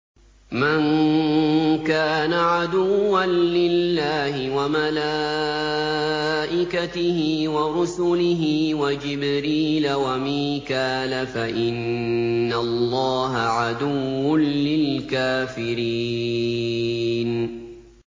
مَن كَانَ عَدُوًّا لِّلَّهِ وَمَلَائِكَتِهِ وَرُسُلِهِ وَجِبْرِيلَ وَمِيكَالَ فَإِنَّ اللَّهَ عَدُوٌّ لِّلْكَافِرِينَ